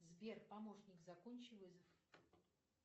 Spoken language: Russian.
сбер помощник закончи вызов